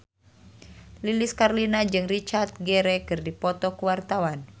Lilis Karlina jeung Richard Gere keur dipoto ku wartawan